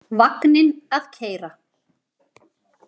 Vagninn að keyra.